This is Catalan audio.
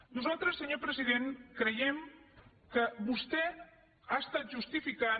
nosaltres senyor president creiem que vostè ha estat justificant